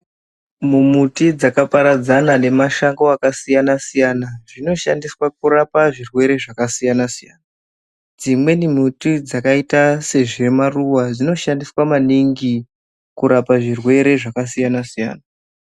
Mumuti dzakaparadzana nemashango akasiyana siyana zvinoshandiswa kurapa zvirwere zvakasiyana siyana dzimweni mutidzakaita sezvemaruva dzinoshanda maningi kurapa zvirwere zvakasiyana siyana.